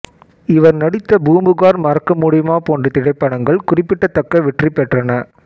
இவர் நடித்த பூம்புகார் மறக்க முடியுமா போன்ற திரைப்படங்கள் குறிப்பிடத்தக்க வெற்றி பெற்றன